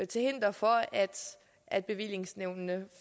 til hinder for at bevillingsnævnene